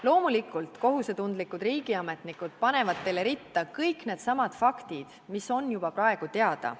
Loomulikult, kohusetundlikud riigiametnikud panevad teile ritta kõik needsamad faktid, mis on juba praegu teada.